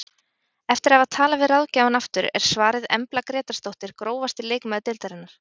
Eftir að hafa talað við ráðgjafann aftur er svarið Embla Grétarsdóttir Grófasti leikmaður deildarinnar?